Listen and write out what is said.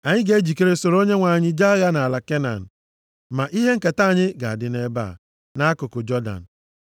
Anyị ga-ejikere soro Onyenwe anyị jee agha nʼala Kenan. Ma ihe nketa anyị ga-adị nʼebe a, nʼakụkụ Jọdan.”